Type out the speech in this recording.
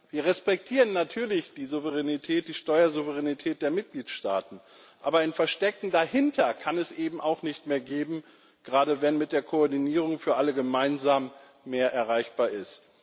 Wir respektieren natürlich die Steuersouveränität der Mitgliedstaaten, aber ein Verstecken dahinter kann es eben auch nicht mehr geben, gerade wenn mit der Koordinierung für alle gemeinsam mehr erreichbar ist.